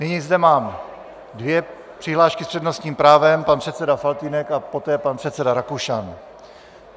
Nyní zde mám dvě přihlášky s přednostním právem, pan předseda Faltýnek a poté pan předseda Rakušan.